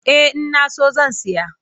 Eh ina so zan saya.